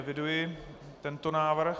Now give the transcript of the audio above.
Eviduji tento návrh.